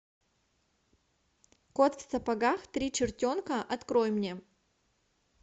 кот в сапогах три чертенка открой мне